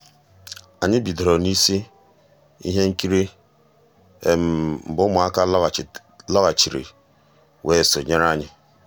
ànyị́ bidoro n'ísí i íhé nkírí mgbé ụmụ́àká lọ́ghàchíré weé sonyéé ànyị́.